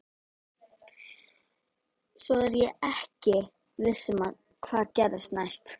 Svo er ég ekki viss um hvað gerist næst.